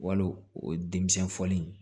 Wal o denmisɛn foli